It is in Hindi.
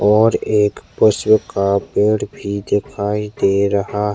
और एक पुष्प का पेड़ भी दिखाई दे रहा है।